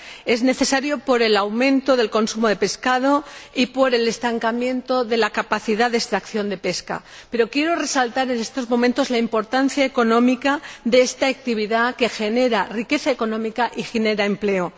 Es necesario por el aumento del consumo de pescado y por el estancamiento de la capacidad de extracción de pesca, pero quiero resaltar en estos momentos la importancia económica de esta actividad que genera riqueza económica y empleo.